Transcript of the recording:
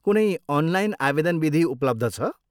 कुनै अनलाइन आवेदन विधि उपलब्ध छ?